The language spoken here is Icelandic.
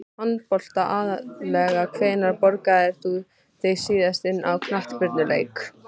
Handbolta aðallega Hvenær borgaðir þú þig síðast inn á knattspyrnuleik?